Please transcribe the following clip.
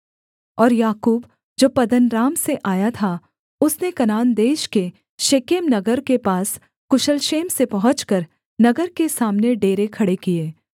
और याकूब जो पद्दनराम से आया था उसने कनान देश के शेकेम नगर के पास कुशल क्षेम से पहुँचकर नगर के सामने डेरे खड़े किए